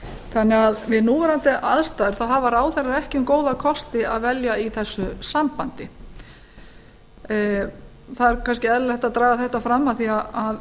þannig að við núverandi aðstæður hafa ráðherrar ekki um góða kosti að velja í þessu sambandi það er kannski eðlilegt að draga þetta fram af því að